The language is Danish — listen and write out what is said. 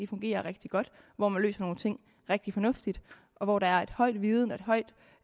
fungerer rigtig godt hvor man løser nogle ting rigtig fornuftigt og hvor der er et højt videnniveau et højt